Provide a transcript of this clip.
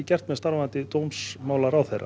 með starfandi dómsmálaráðherra